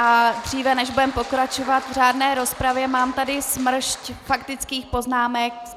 A dříve, než budeme pokračovat v řádné rozpravě, mám tady smršť faktických poznámek.